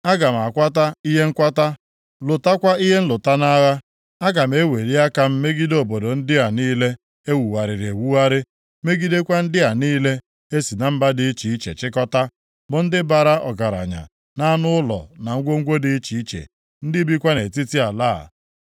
Aga m akwata ihe nkwata, lụtakwa ihe nlụta nʼagha. Aga m eweli aka m megide obodo ndị a niile e wugharịrị ewugharị, megidekwa ndị a niile e si na mba dị iche iche chịkọtaa, bụ ndị bara ọgaranya nʼanụ ụlọ na ngwongwo dị iche iche, ndị bikwa nʼetiti ala a.”